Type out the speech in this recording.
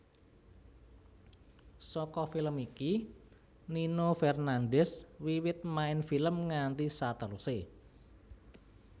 Saka film iki Nino Fernandez wiwit main film nganti saterusé